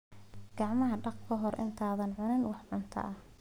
Gacmaha dhaq ka hor intaadan cunin wax cunto ah.